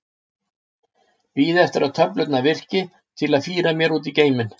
Bíða eftir að töflurnar virki til að fíra mér út í geiminn.